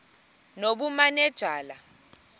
nobumanejala